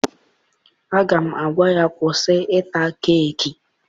Aga m agwa ya kwụsị ịta keeki!